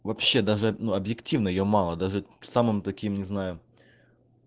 вообще даже объективно её мало даже в самом таким не знаю